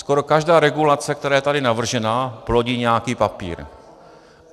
Skoro každá regulace, která je tady navržena, plodí nějaký papír.